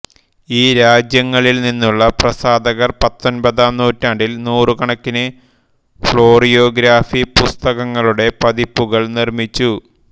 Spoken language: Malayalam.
ഈ രാജ്യങ്ങളിൽ നിന്നുള്ള പ്രസാധകർ പത്തൊൻപതാം നൂറ്റാണ്ടിൽ നൂറുകണക്കിന് ഫ്ലോറിയോഗ്രാഫി പുസ്തകങ്ങളുടെ പതിപ്പുകൾ നിർമ്മിച്ചു